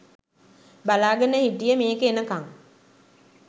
බලාගෙන හිටියේ මේක එනකං.